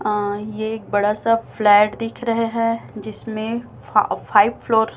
अ एक बड़ा सा फ्लैट दिख रहे हैं जिसमें फ फाइव फ्लोर --